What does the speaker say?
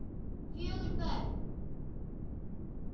Fjögur börn.